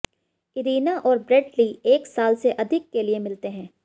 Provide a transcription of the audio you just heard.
Irina और Bradley एक साल से अधिक के लिए मिलते हैं